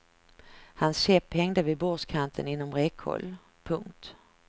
Hans käpp hängde vid bordskanten inom räckhåll. punkt